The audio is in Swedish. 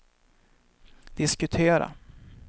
diskutera